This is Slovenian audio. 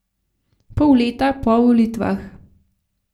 Pol leta po volitvah.